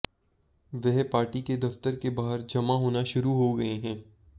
वह पार्टी के दफ्तर के बाहर जमा होना शुरू होगये हैं